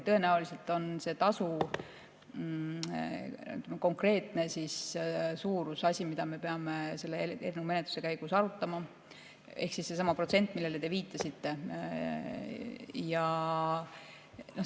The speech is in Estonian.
Tõenäoliselt on tasu konkreetne suurus asi, mida me peame selle eelnõu menetluse käigus arutama, sedasama protsenti, millele te viitasite.